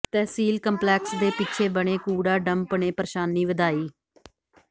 ਤਹਿਸੀਲ complex ਦੇ ਪਿੱਛੇ ਬਣੇ ਕੂੜਾ ਡੰਪ ਨੇ ਪ੍ਰੇਸ਼ਾਨੀ ਵਧਾਈ